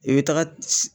I bɛ taga